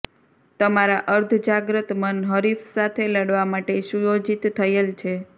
તમારા અર્ધજાગ્રત મન હરીફ સાથે લડવા માટે સુયોજિત થયેલ છે